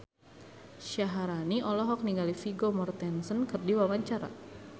Syaharani olohok ningali Vigo Mortensen keur diwawancara